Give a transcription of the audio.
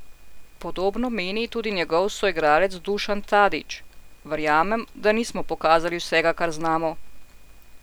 Podobno meni tudi njegov soigralec Dušan Tadić: "Verjamem, da nismo pokazali vsega, kar znamo.